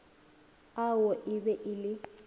ao e be e le